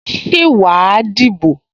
Ṣé wà á dìbò?